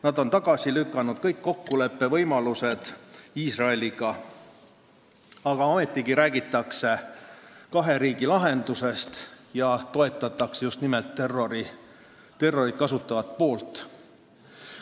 Nad on tagasi lükanud kõik kokkuleppevõimalused Iisraeliga, aga ometi räägitakse kahe riigi lahendusest ja toetatakse just nimelt terrorit kasutavat poolt.